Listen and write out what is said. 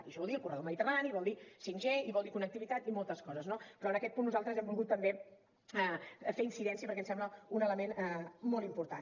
i això vol dir el corredor mediterrani vol dir 5g i vol dir connectivitat i moltes coses no però en aquest punt nosaltres hi hem volgut també fer incidència perquè ens sembla un element molt important